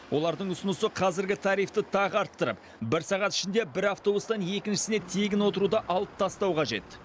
олардың ұсынысы қазіргі тарифті тағы арттырып бір сағат ішінде бір автобустан екіншісіне тегін отыруды алып тастау қажет